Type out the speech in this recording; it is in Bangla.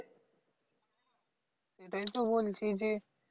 সেটাই তো বলছি যে